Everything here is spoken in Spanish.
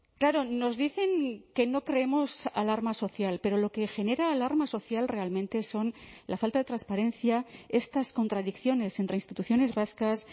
claro nos dicen que no creemos alarma social pero lo que genera alarma social realmente son la falta de transparencia estas contradicciones entre instituciones vascas